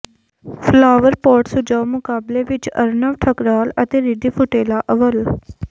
flower pot ਸਜਾਓ ਮੁਕਾਬਲੇ ਵਿੱਚ ਅਰੁਣਵ ਠਕਰਾਲ ਅਤੇ ਰਿਧੀ ਫੁਟੇਲਾ ਅੱਵਲ